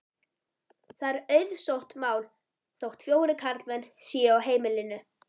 Það er auðsótt mál þótt fjórir karlmenn séu á heimilinu.